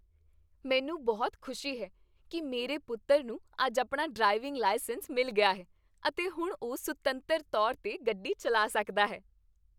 ਮੈਨੂੰ ਬਹੁਤ ਖੁਸ਼ੀ ਹੈ ਕੀ ਮੇਰੇ ਪੁੱਤਰ ਨੂੰ ਅੱਜ ਆਪਣਾ ਡਰਾਈਵਿੰਗ ਲਾਇਸੈਂਸ ਮਿਲ ਗਿਆ ਹੈ ਅਤੇ ਹੁਣ ਉਹ ਸੁਤੰਤਰ ਤੌਰ 'ਤੇ ਗੱਡੀ ਚੱਲਾ ਸਕਦਾ ਹੈ।